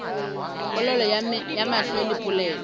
polelo ya mahlo le polelo